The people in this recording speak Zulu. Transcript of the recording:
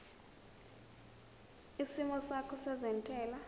isimo sakho sezentela